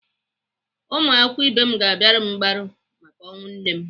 Ụmụakwụkwọ ibe m ga-abịara m mgbaru maka ọnwụ nne m.